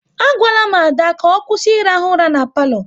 A gwala m Ada ka ọ kwụsị ị rahụ ura n'palo